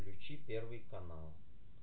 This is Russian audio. включи первый канал